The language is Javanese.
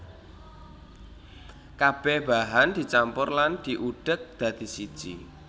Kabeh bahan dicampur lan diudheg dadi siji